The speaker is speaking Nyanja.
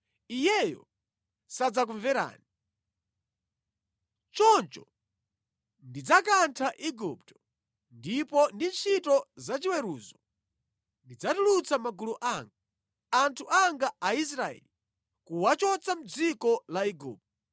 iyeyo sadzakumverani. Choncho ndidzakantha Igupto, ndipo ndi ntchito zachiweruzo ndidzatulutsa magulu anga, anthu anga Aisraeli kuwachotsa mʼdziko la Igupto.